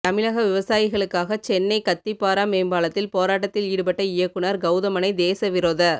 தமிழக விவசாயிகளுக்காக சென்னை கத்திப்பாரா மேம்பாலத்தில் போராட்டத்தில் ஈடுபட்ட இயக்குநர் கவுதமனை தேச விரோத